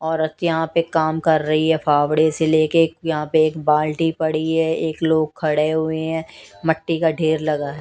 औरत यहां पे काम कर रही है फावड़े से ले के यहां पे एक बाल्टी पड़ी है एक लोग खड़े हुए हैं मट्टी का ढेर लगा है।